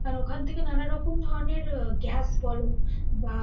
কারণ ওখান থেকে নানা রকম ধরণের আহ গ্যাস বলো বা